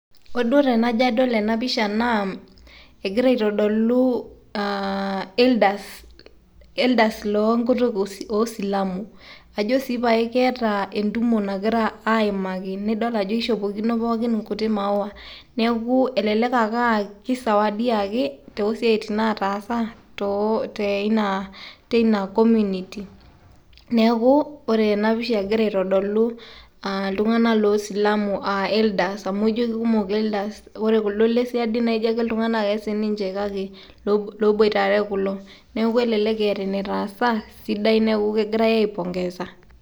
ore duo tenajo adol ena pisha naa egira aitodolu, aa elders elders le nkutuk oo silamu. ajo sii pae keeta entumo nagira aimaki, nidol ajo kishopokino pookin inkuti maawa. neeku elelk ake aa kisawadiaki too nkuti siatin nataasa tooina, teina community neeku ore ena pisha egira aitodolu iltunganak loo silamu aa elders amu ijo kikumok elders. neeku elelek aa keeta enetaasa neeku kegirae aipongeza.